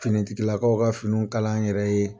Finitigilakaw ka finiw kalan an yɛrɛ ye.